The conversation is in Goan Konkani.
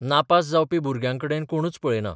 नापास जावपी भुरग्यांकडेन कोणच पळयनात.